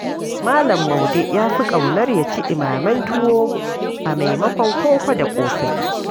Malam Maude ya fi ƙaunar ya ci ɗimamen tuwo a maimakon koko da ƙosai.